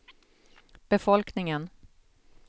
befolkningen